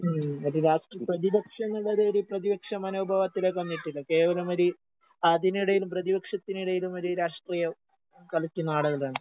ഉം ഒരു രാഷ്ട്രി പ്രതിപക്ഷങ്ങളുടെ ഒരു ഒരു പ്രതിപക്ഷമനോഭാവത്തിലേക്ക് വന്നിട്ടില്ല. കേവലമൊര് അതിനെടേലും പ്രതിപക്ഷെത്തിനിടയിലും ഒര് രാഷ്ട്രീയം കളിച്ച് നാടകമിടാണ്